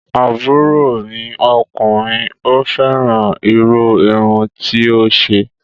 Àbúrò mi ọkùnrin ò fẹ́ràn irú irun tí ó ṣe